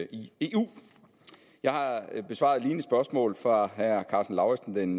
i eu jeg har besvaret et lignende spørgsmål fra herre karsten lauritzen den